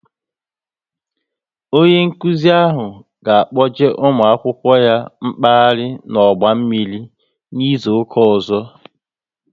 Onye nkụzi ahụ ga kpọje ụmụ akwụkwọ ya mkpaghari n'ọgba mmiri n'izuka ọzọ